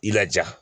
I laja